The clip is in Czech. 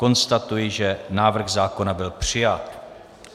Konstatuji, že návrh zákona byl přijat.